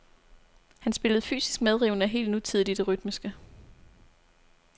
Han spillede fysisk medrivende og helt nutidigt i det rytmiske.